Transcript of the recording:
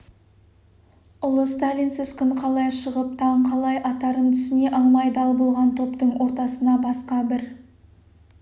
ұлы сталинсіз күн қалай шығып таң қалай атарын түсіне алмай дал болған топтың ортасына басқа бір